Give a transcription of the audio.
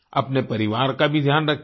अपने परिवार का भी ध्यान रखिये